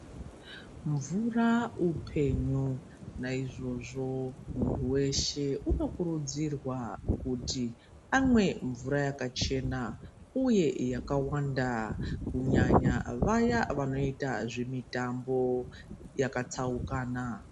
Mvura upenyu naizvozvo muntu weshe uno kurudzirwa kuti amwe mvura yaka chena uye yakawanda kunyanya vaya vanoita zve mitambo yaka tsaukana.